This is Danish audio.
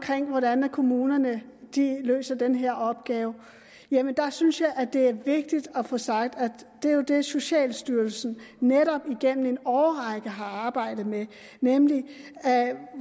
hvordan kommunerne løser den her opgave synes jeg det er vigtigt at få sagt at det jo er det socialstyrelsen netop igennem en årrække har arbejdet med nemlig